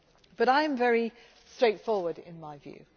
But I am very straightforward in my view.